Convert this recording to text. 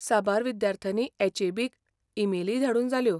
साबार विद्यार्थ्यांनी एच.ए.बी. क ईमेलीय धाडून जाल्यो.